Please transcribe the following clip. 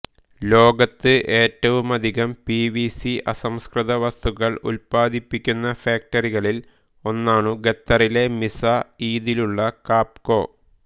ലോകത്ത് ഏറ്റവുമധികം P V C അസംസ്കൃത വസ്തുക്കൾ ഉല്പദിപ്പിക്കുന്ന ഫാക്ടറികളിൽ ഒന്നാണു ഖത്തറിലെ മിസ്സഈദിലുള്ള കാപ്കൊ